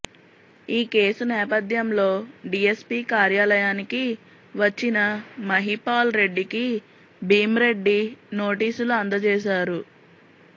ఈ కేసు నేపథ్యంలో డీఎస్పీ కార్యాలయానికి వచ్చిన మహిపాల్ రెడ్డికి భీమ్రెడ్డి నోటీసులు అందజేశారు